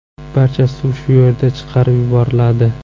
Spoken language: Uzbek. Barcha suv shu yerdan chiqarib yuboriladi.